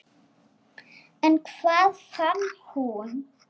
En hvað fann hún?